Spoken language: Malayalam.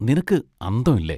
നിനക്ക് അന്തം ഇല്ലേ?